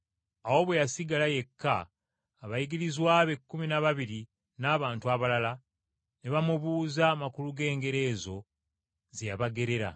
Awo bwe yasigala yekka, abayigirizwa be ekkumi n’ababiri n’abantu abalala, ne bamubuuza amakulu g’engero ezo ze yabagerera.